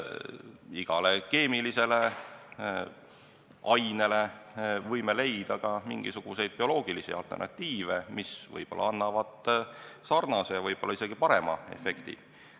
Igale keemilisele ainele võime leida mingisuguseid bioloogilisi alternatiive, mis võib-olla annavad sarnase ja ehk isegi parema efekti.